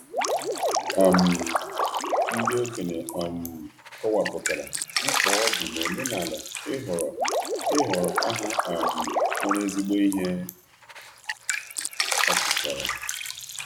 um Ndị okenye um kọwapụtara, mkpa ọ dị n'omenala ịhọrọ ịhọrọ aha um nwere ezigbo ihe ọpụtara.